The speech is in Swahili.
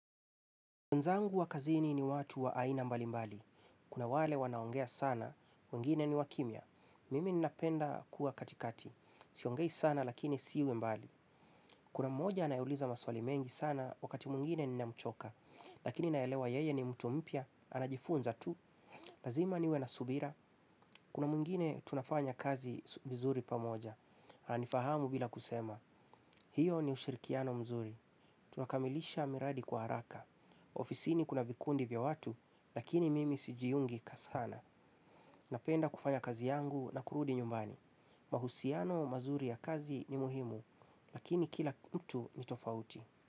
Nzangu wa kazini ni watu wa aina mbali mbali. Kuna wale wanaongea sana, wengine ni wakimia. Mimi ninapenda kuwa katikati. Siongei sana lakini siwe mbali. Kuna mmoja anayeuliza maswali mengi sana wakati muingine nina mchoka. Lakini naelewa yeye ni mtu mpia, anajifunza tu. Lazima niwe na subira. Kuna muingine tunafanya kazi vizuri pamoja. Anifahamu bila kusema. Hiyo ni ushirikiano mzuri. Tunakamilisha miradi kwa haraka. Ofisini kuna vikundi vya watu, lakini mimi sijiyungi kasana. Napenda kufanya kazi yangu na kurudi nyumbani. Mahusiano mazuri ya kazi ni muhimu, lakini kila mtu ni tofauti.